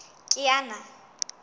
kiana